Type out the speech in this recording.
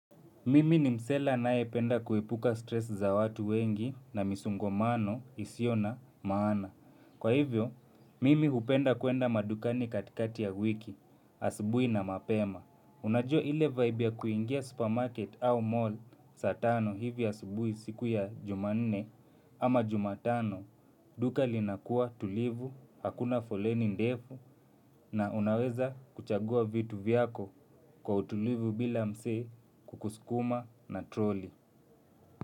Mimi ni msela anaependa kuepuka stress za watu wengi na misongomano isiona maana. Kwa hivyo, mimi hupenda kuenda madukani katikati ya wiki, asibui na mapema. Unajua ile vibe ya kuingia supermarket au mall saa tano hivi ya asubui siku ya juma nne ama jumatano. Duka linakua tulivu, hakuna foleni ndefu na unaweza kuchagua vitu vyako kwa utulivu bila msee kukusukuma na troli.